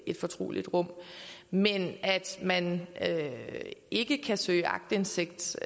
et fortroligt rum men at man ikke kan søge aktindsigt